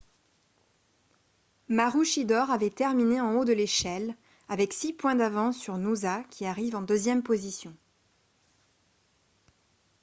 maroochydore avait terminé en haut de l'échelle avec six points d'avance sur noosa qui arrive en deuxième position